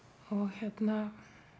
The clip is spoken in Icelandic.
hérna